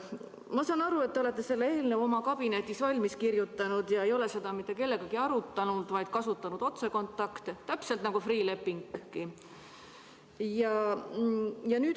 Ma saan aru, et te olete selle eelnõu oma kabinetis valmis kirjutanud ega ole seda mitte kellegagi arutanud, vaid olete kasutanud otsekontakte, täpselt nagu Freeh' lepingu puhul.